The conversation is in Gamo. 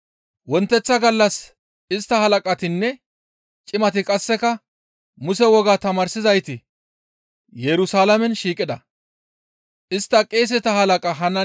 Wonteththa gallas istta halaqatinne cimati qasseka Muse wogaa tamaarsizayti Yerusalaamen shiiqida. Ayhuda halaqata, cimatanne woga tamaarsizayta duulata